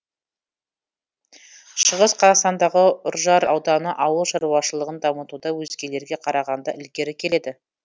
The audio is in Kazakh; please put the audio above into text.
шығыс қазақстандағы үржар ауданы ауыл шаруашылығын дамытуда өзгелерге қарағанда ілгері келеді